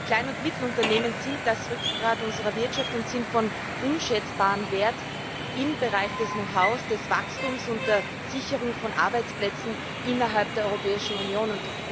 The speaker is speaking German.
Die Klein und Mittelunternehmen sind das Rückgrat unserer Wirtschaft und sind von unschätzbarem Wert im Bereich des Know how, des Wachstums und der Sicherung von Arbeitsplätzen innerhalb der Europäischen Union.